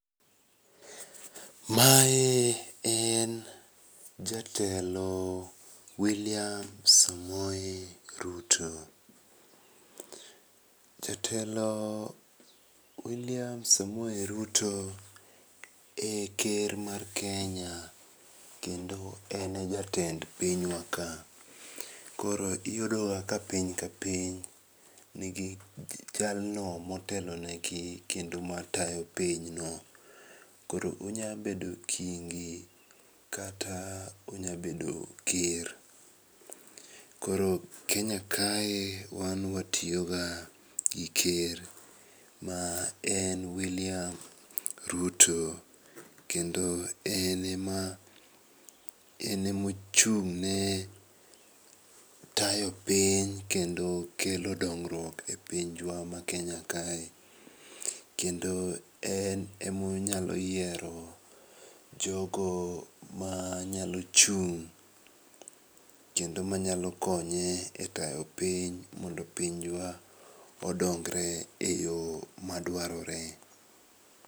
Mae en jatelo William Samoei Ruto. Jatelo William Samoei Ruto e ker mar Kenya kendo ene jatend pinywa ka. Koro iyudoga ka piny ka piny nigi jalno motelo negi kendo matayo pinyno. Koro onyabedo kingi, kata onyabedo ker. Koro Kenya kae wan watioga gi ker maen William Ruto, kendo ene maochung'ne tayo piny kendo kelo dongruok e pinjwa maKenya kae, kendo en emonyalo yiero jogo manyalo chung', kendo manyalo konye e tayo piny mondo pinjwa odongre e yo madwarore.